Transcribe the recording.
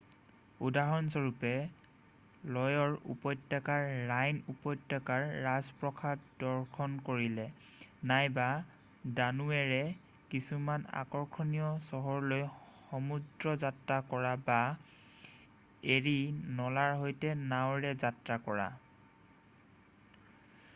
উদাহৰণস্বৰূপে ল'য়ৰ উপত্যকাৰ ৰাইন উপত্যকাৰ ৰাজপ্ৰসাদ দৰ্শন কৰিলে নাইবা দানোৱেৰ কিছুমান আকৰ্ষণীয় চহৰলৈ সমুদ্ৰ যাত্ৰা কৰা বা এৰি নলাৰ সৈতে নাৱেৰে যাত্ৰা কৰা